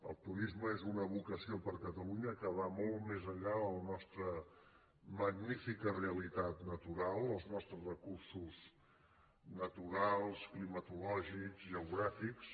el turisme és una vocació per a catalunya que va molt més enllà de la nostra magnífica realitat natural els nos·tres recursos naturals climatològics geogràfics